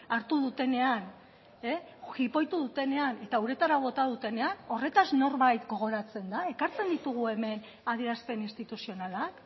hartu dutenean jipoitu dutenean eta uretara bota dutenean horretaz norbait gogoratzen da ekartzen ditugu hemen adierazpen instituzionalak